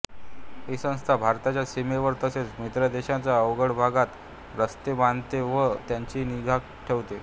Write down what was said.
ही संस्था भारताच्या सीमेवर तसेच मित्रदेशांच्या अवघड भागांत रस्ते बांधते व त्यांची निगा ठेवते